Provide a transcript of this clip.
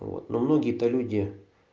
вот но многие то люди